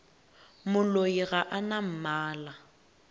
moloi ga a na mmala